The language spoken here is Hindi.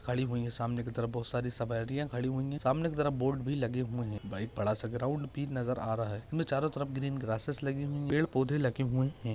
खड़ी हुई है सामने की तरफ बहुत सारी सवारिया खड़ी हुई है सामने की तरफ बहुत सारी बोर्ड भी लगी हुए है वही बड़ासा ग्राउंड भी नजर आ रहा है चारो तरफ ग्रीन ग्रासेस लगी हुई है पेड़ पौधे लगे हुए है।